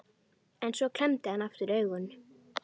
En svo klemmdi hann aftur augun.